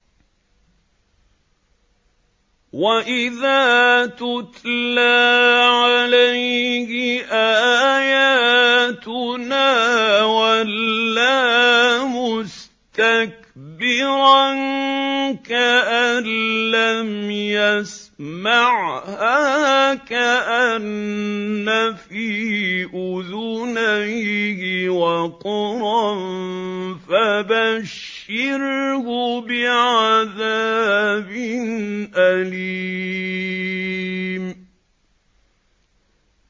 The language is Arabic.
وَإِذَا تُتْلَىٰ عَلَيْهِ آيَاتُنَا وَلَّىٰ مُسْتَكْبِرًا كَأَن لَّمْ يَسْمَعْهَا كَأَنَّ فِي أُذُنَيْهِ وَقْرًا ۖ فَبَشِّرْهُ بِعَذَابٍ أَلِيمٍ